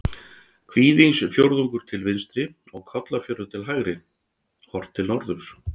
Kvígindisfjörður til vinstri og Kollafjörður til hægri, horft til norðurs.